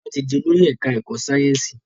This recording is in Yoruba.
Tola tí dì Olórí ẹka ẹkọ Sáyẹnsì.